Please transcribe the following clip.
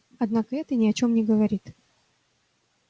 однако это ни о чём не говорит